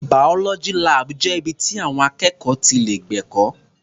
Biology lab jẹ́ ibi ti àwọn akẹ́kọ̀ọ́ ti lè gbẹ̀kọ́.